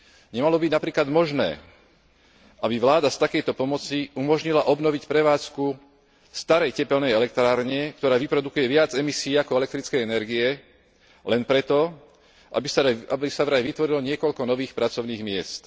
Nemalo by byť napríklad možné, aby vláda z takejto pomoci umožnila obnoviť prevádzku starej tepelnej elektrárne, ktorá vyprodukuje viac emisií ako elektrickej energie, len preto, aby sa vraj vytvorilo niekoľko nových pracovných miest.